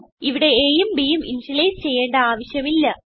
ഇവിടെ aയും bയും ഇനിഷ്യലൈസ് ചെയ്യേണ്ട ആവശ്യം ഇല്ല